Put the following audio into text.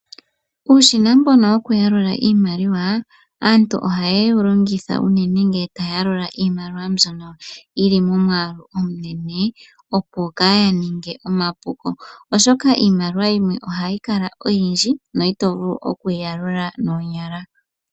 Uushina mbono wokuyalula iimaliwa, aantu ohaye wu longitha unene ngele taya yalula iimaliwa mbyono yili momwaalu omunene opo kaaya ninge omapuko, oshoka iimaliwa yimwe ohayi kala oyindji no ito vulu okuyi yalula noonyala.